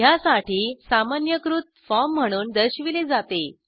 ह्यासाठी सामान्यीकृत फॉर्म म्हणून दर्शविले जाते